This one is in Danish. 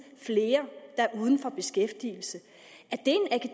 flere uden beskæftigelse